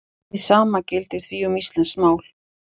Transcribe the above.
Hið sama gildir því um íslenskt mál.